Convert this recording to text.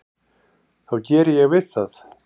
þá geri ég við það.